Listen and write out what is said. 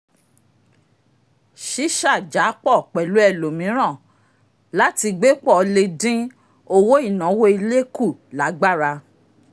sísàjàpọ̀ pẹ̀lú ẹlòmíràn láti gbé pọ̀ le dín owó ináwó ilé kù lágbára